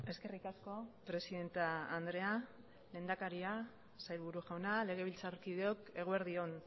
eskerrik asko presidente andrea lehendakaria sailburu jauna legebiltzarkideok eguerdi on